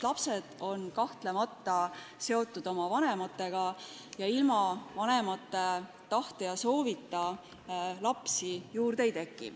Lapsed on kahtlemata seotud oma vanematega ning ilma vanemate tahte ja soovita lapsi juurde ei teki.